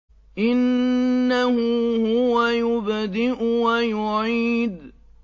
إِنَّهُ هُوَ يُبْدِئُ وَيُعِيدُ